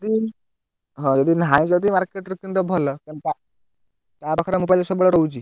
ଯଦି ହଉ ଯଦି ନାହିଁ ଯଦି market ରୁ କିଣି ଦବ ଭଲ। କାରଣ ତା ପାଖରେ mobile ସବୁବେଳେ ରହୁଛି।